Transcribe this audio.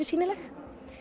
sýnileg